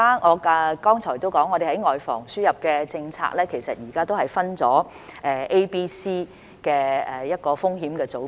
我剛才已提到，我們在外防輸入的政策，其實現在分為 A、B、C 的風險組別。